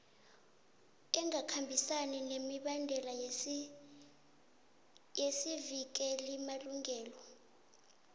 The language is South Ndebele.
engakhambisani nemibandela yesivikelimalungelo